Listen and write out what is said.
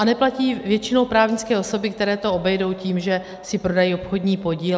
A neplatí ji většinou právnické osoby, které to obejdou tím, že si prodají obchodní podíl.